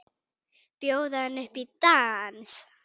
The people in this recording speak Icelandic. Bjóða henni upp í dans!